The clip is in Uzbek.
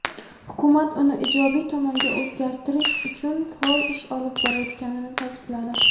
hukumat uni ijobiy tomonga o‘zgartirish uchun faol ish olib borayotganini ta’kidladi.